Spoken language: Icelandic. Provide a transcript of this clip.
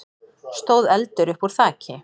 stóð eldur uppúr þaki.